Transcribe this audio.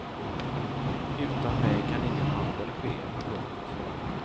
Utan mig kan ingen handel ske. punkt